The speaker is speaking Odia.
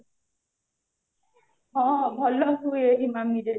ହଁ ଭଲ ହୁଏ ଇମାମିରେ